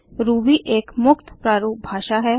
Ruby एक मुक्त प्रारूप भाषा है